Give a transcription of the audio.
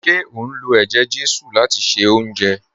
Ṣe o n lọ̀ èjè-jésù láti ṣẹ ọ̀unjẹ?